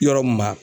Yɔrɔ mun ma